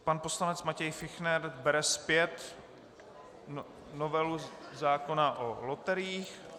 Pan poslanec Matěj Fichtner bere zpět novelu zákona o loteriích.